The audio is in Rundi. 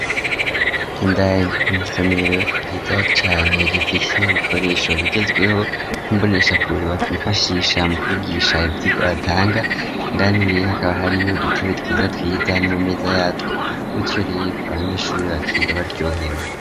Indani mw'isomero ryiza cane rifise ibikoresho bigezweho n'imbonesha kure bokwifashisha mu kwigisha ivyirwa batanga indani rero hakaba hariyo udutebe twiza twiza n'amameza yatwo gutyo rero abanyeshuri bakiga baryohewe.